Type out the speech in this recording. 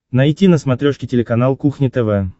найти на смотрешке телеканал кухня тв